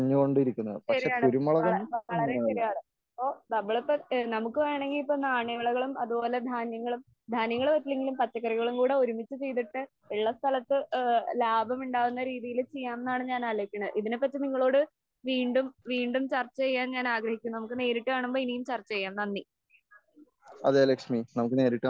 ശരിയാണ് വളരെ ശരിയാണ്, നമുക്ക് വേണെങ്കിൽ നാണ്യവിളകളും ധാന്യങ്ങളും ധാന്യങ്ങൾ പറ്റില്ലെങ്കിൽ പച്ചക്കറികളും ഉള്ള സമയത്തു ഒരുമിച്ച് ചെയ്തിട്ട് ലാഭമുണ്ടാക്കുന്ന രീതിയിൽ ചെയ്യാമെന്നാണ് ഞാൻ ആലോചിക്കുന്നത്. ഇതിനെ പറ്റി നിങ്ങളോടു വീണ്ടും വീണ്ടും ചർച്ച ചെയ്യാമെന്നാണ് ഞാൻ ആലോചിക്കുന്നത് നമുക് നേരിട്ടു കാണുമ്പോൾ ചർച്ച ചെയ്യാം, നന്ദി.